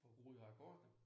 For ryger akkorderne